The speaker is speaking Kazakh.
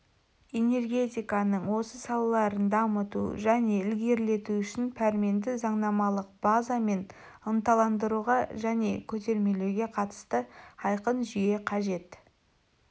энергетиканың осы салаларын дамыту және ілгерілету үшін пәрменді заңнамалық база мен ынталандыруға және көтермелеуге қатысты айқын жүйе қажет